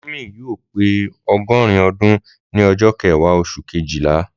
Mọmi yóò pe ọgọrin ọdún ni ọjọ kẹwa osun Kejìlá